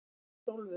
Hrólfur